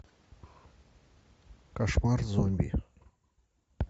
кошмар зомби